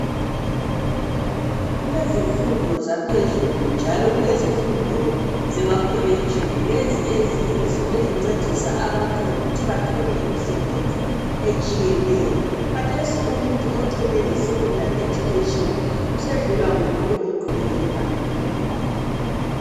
Kulezifundo zaphezulu njalo kulezifundo zemakolotshini lezi eziyizo ezincedisa abantu ukuthi bathole imisebenzi etshiyeneyo khathesi umuntu ocine eskhondari usesedlulwa ngumuntu oqhubekele phambili